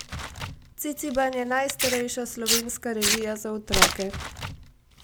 Ciciban je najstarejša slovenska revija za otroke.